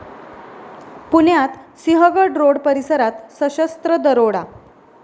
पुण्यात सिंहगड रोड परिसरात सशस्त्र दरोडा